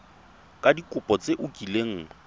ka dikopo tse o kileng